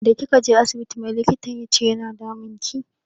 Da kika je asibiti mai likitan yace yana damunki?